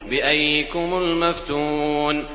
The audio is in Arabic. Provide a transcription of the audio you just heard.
بِأَييِّكُمُ الْمَفْتُونُ